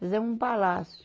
Fizemos um palácio.